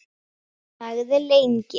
Þagði lengi.